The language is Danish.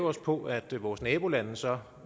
os på at vores nabolande så